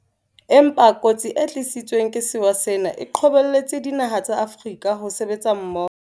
Empa kotsi e tlisitsweng ke sewa sena e qobelletse dinaha tsa Afrika ho sebetsa mmoho.